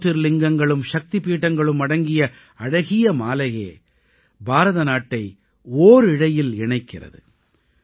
ஜ்யோதிர்லிங்கங்களும் சக்திபீடங்களும் அடங்கிய அழகிய மாலையே பாரதநாட்டை ஓரிழையில் இணைக்கிறது